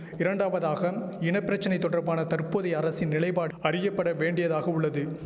இரண்டாவதாக இன பிரச்சனை தொடர்பான தற்போதைய அரசின் நிலைபாடு அறியப்பட வேண்டியதாக உள்ளது